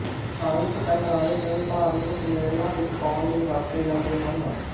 ਧਾਰਮਿਕ ਪਹਿਰਾਵੇ ਕੇਵਲ ਧਾਰਮਿਕ ਸਮੇਲਨਾਂ ਵਿੱਚ ਪਾਉਣ ਲਈਂ ਵਰਤੇ ਜਾਂਦੇ ਹਨ